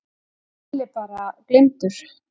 Lalli bara gleymdur.